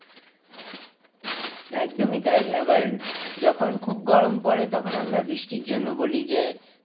একদমই তাই। আবার যখন খুব গরম পরে তখন আমরা বৃষ্টির জন্য বলি যে,